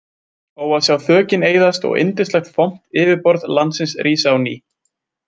Ó að sjá þökin eyðast og yndislegt, fomt yfirborð landsins rísa á ný.